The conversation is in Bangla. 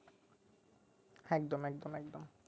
একদম একদম একদম